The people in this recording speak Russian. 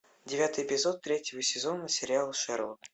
девятый эпизод третьего сезона сериала шерлок